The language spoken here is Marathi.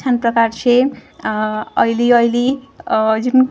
छान प्रकारचे आह ऑईली ऑईली आह जीन --